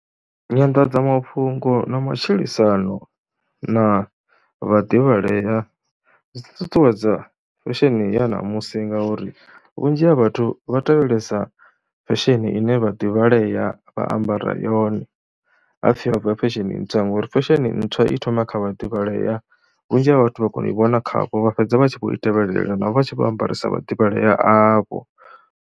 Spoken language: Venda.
Nyanḓadzamafhungo ya matshilisano na vhaḓivhalea dzi ṱuṱuwedza fesheni ya ṋamusi ngauri vhunzhi ha vhathu vha tevhelesa fesheni ine vha vhaḓivhalea vha ambara yone, ha pfhi ho bva fesheni ntswa ngori fesheni ntswa i thoma kha vhaḓivhalea, vhunzhi ha vhathu vha kona u i vhona khavho, vha fhedza vha tshi khou tevhelela navho vha tshi vho ambara sa vhaḓivhalea avho.